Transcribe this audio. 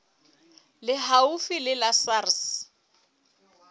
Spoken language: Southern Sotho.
le haufi le la sars